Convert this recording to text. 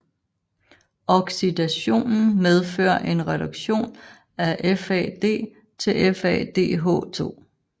Oxidationen medfører en reduktion af FAD til FADH2